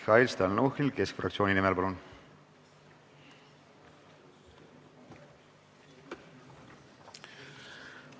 Mihhail Stalnuhhin Keskerakonna fraktsiooni nimel, palun!